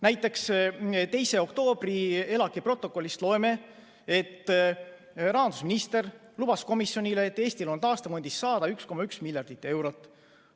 Näiteks 2. oktoobri ELAK-i protokollist loeme, et rahandusminister lubas komisjonile, et Eestil on taastefondist saada 1,1 miljardit eurot.